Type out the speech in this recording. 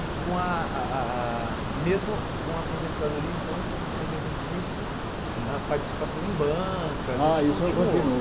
E com ah ah ah mesmo com a aposentadoria, então, como o senhor mesmo disse, a participação em bancas, isso continua? Ah isso continua